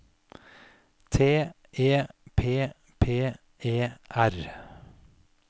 T E P P E R